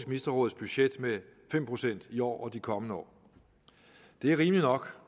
ministerråds budget med fem procent i år og de kommende år det er rimeligt nok